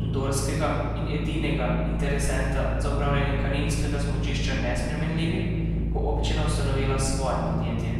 andorskega, in edinega, interesenta za upravljanje kaninskega smučišča nesprejemljivi, bo občina ustanovila svoje podjetje.